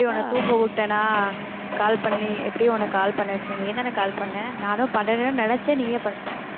எப்படி உன்னை தூங்க விட்டனா call பண்ணி எப்படியும் உன்னை call பண்ண வச்சிருந்தேன், நீயும் தான call பண்ண நானும் பண்ணணும்ன்னு நினைச்சேன் நீயே பண்ணிட்ட